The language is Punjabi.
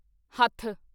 ਹੱਥ